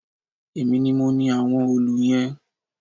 Èmi ni mo ni àwọn òòlù yẹn